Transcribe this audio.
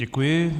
Děkuji.